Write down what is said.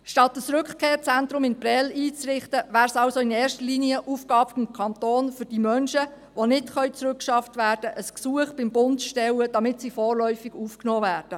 Statt ein Rückkehrzentrum in Prêles einzurichten, wäre es also in erster Linie Aufgabe des Kantons, für die Menschen, die nicht zurückgeschafft werden können, beim Bund ein Gesuch zu stellen, damit sie vorläufig aufgenommen werden.